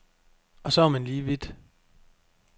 Og så er man lige vidt.